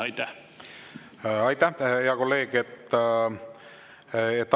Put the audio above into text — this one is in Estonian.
Aitäh, hea kolleeg!